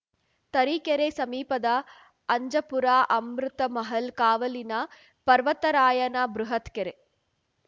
ತರೀಕೆರೆ ಸಮೀಪದ ಅಂಜಪುರ ಅಮೃತಮಹಲ್‌ ಕಾವಲಿನ ಪರ್ವತರಾಯನ ಬೃಹತ್‌ ಕೆರೆ